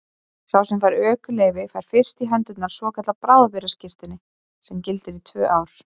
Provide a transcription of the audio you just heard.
Sá sem fær ökuleyfi fær fyrst í hendur svokallað bráðabirgðaskírteini sem gildir í tvö ár.